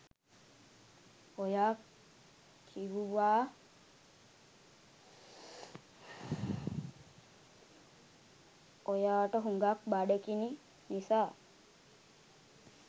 ඔයා කිවුවා ඔයාට හුඟාක් බඩගිනි නිසා